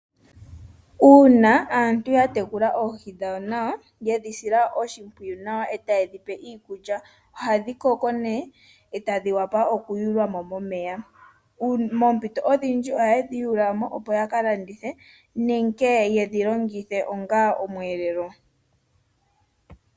Uuna aantu ya tekula oohi dhawo nawa yedhi sila oshimpwiyu nawa etaye dhi pe iikulya ohadhi koko ne etadhi vulu okuyulwa mo momeya. Moompito odhindji ohaye dhi yuula mo opo yaka landithe nenge yedhi longithe onga omweelelo.